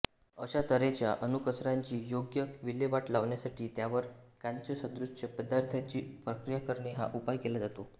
अशा तऱ्हेच्या अणुकचऱ्याची योग्य विल्हेवाट लावण्यासाठी त्यावर कांचसदृश्य पदार्थाची प्रक्रिया करणे हा उपाय केला जातो